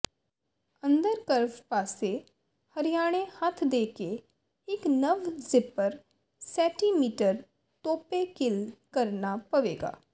ਅੰਦਰ ਕਰਵ ਪਾਸੇ ਹਰਿਆਣੇ ਹੱਥ ਦੇ ਕੇ ਇੱਕ ਨਵ ਜ਼ਿੱਪਰ ਸੈਟੀਮੀਟਰ ਤੋਪੇ ਕਿੱਲ ਕਰਨਾ ਪਵੇਗਾ